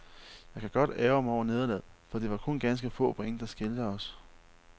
Jeg kan godt ærgre mig over nederlaget, for det var kun ganske få point der skilte os.